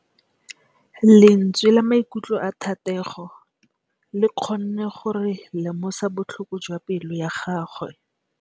Lentswe la maikutlo a Thategô le kgonne gore re lemosa botlhoko jwa pelô ya gagwe.